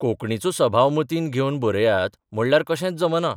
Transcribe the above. कोंकणीचो सभाव मतींत घेवन बरयात म्हणल्यार कशेंच जमना.